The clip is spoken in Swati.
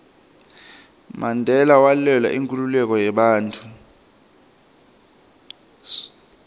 mandela walwela inkhululeko yebantfu